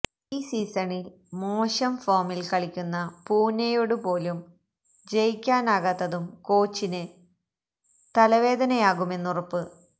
ഈ സീസണിൽ മോശം ഫോണിൽ കളിക്കുന്ന പൂണെയോട് പോലും ജയിക്കാനാകാത്തതും കോച്ചിന് തലവേദനയാകുമെന്നുറപ്പ്